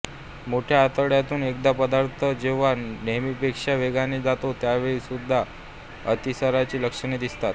मोठ्या आतड्यातून एखादा पदार्थ जेंव्हा नेहमीपेक्षा वेगाने जातो त्यावेळी सुद्धा अतिसाराची लक्षणे दिसतात